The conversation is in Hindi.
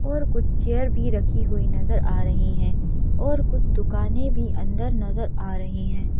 और कुछ चेयर भी रखी हुई नजर आ रही है और कुछ दुकानें भी अंदर नजर आ रही हैं।